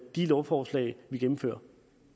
de lovforslag vi gennemfører